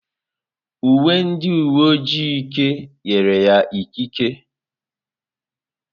Uwe ndị uwe ojii Ike nyere ya ikike.